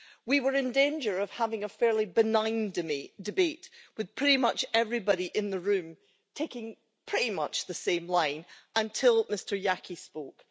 We were in danger of having a fairly benign to debate with pretty much everybody in the room taking pretty much the same line until Mr Jaki spoke.